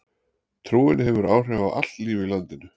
Trúin hefur áhrif á allt líf í landinu.